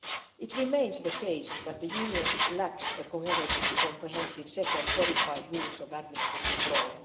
It remains the case that the Union lacks a coherent and comprehensive set of codified rules of administrative law.